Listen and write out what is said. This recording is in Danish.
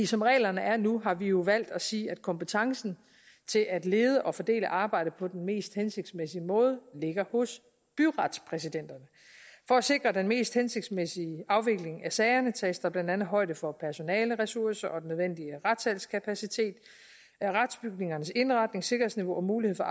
som reglerne er nu har vi jo valgt at sige at kompetencen til at lede og fordele arbejdet på den mest hensigtsmæssige måde ligger hos byretspræsidenterne for at sikre den mest hensigtsmæssige afvikling af sagerne tages der blandt andet højde for personaleressourcer og den nødvendige retssalskapacitet retsbygningernes indretning og sikkerhedsniveau og muligheden